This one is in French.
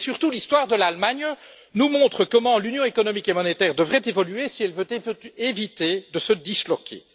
L'histoire de l'Allemagne nous montre surtout comment l'Union économique et monétaire devrait évoluer si elle veut éviter de se disloquer.